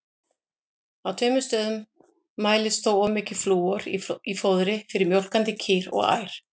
Á tveimur stöðum mælist þó of mikið flúor í fóðri fyrir mjólkandi kýr og ær.